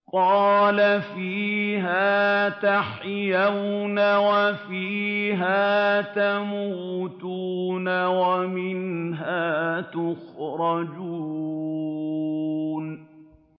قَالَ فِيهَا تَحْيَوْنَ وَفِيهَا تَمُوتُونَ وَمِنْهَا تُخْرَجُونَ